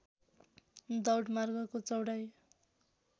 दौड मार्गको चौडाइ